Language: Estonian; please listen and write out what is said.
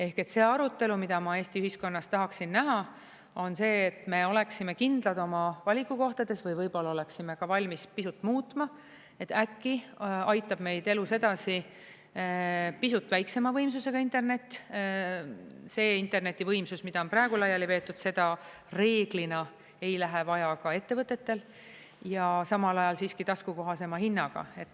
Ehk see arutelu, mida ma Eesti ühiskonnas tahaksin näha, on see, et me oleksime kindlad oma valikukohtades või võib-olla oleksime ka valmis pisut muutma, et äkki aitab meid elus edasi pisut väiksema võimsusega internet – see internetivõimsus, mida on praegu laiali veetud, seda reeglina ei lähe vaja ka ettevõtetel – ja samal ajal siiski taskukohasema hinnaga.